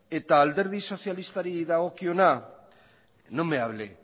eta alderdi sozialistari dagokiona no me hable